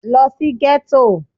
Lo sí Gétò